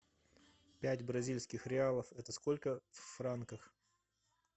пять бразильских реалов это сколько в франках